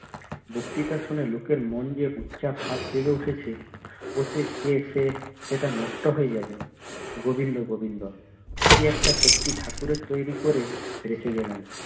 বক্তৃতা শুনে লোকের মন দিয়ে যে গুচ্ছা ভাব জেগে উঠেছে অতে যেয়ে সে সেটা নষ্ট হয়ে যাবে গোবিন্দ গোবিন্দ কি একটা শক্তি ঠাকুরের তৈরী করে রেখে গেলেন